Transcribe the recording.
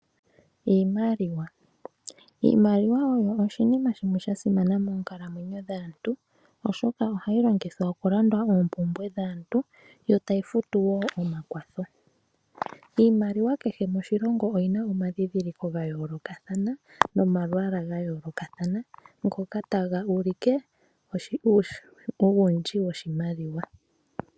Iimaliwa, iimaliwa osho oshinima shimwe shasimana monkalamwenyo dhaantu oshoka ohayi longithwa okulanda oopumbwe dhaantu yo tayifutu wo omakwatho. Iimaliwa kehe moshilongo oyina oma dhidhiliko ngayoloka thana nomalwala ngayoloka thana, ngoka tanga ulike uwundji woshimaliwa.